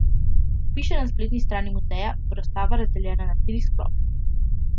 Kot piše na spletni strani muzeja, bo razstava razdeljena na tri sklope.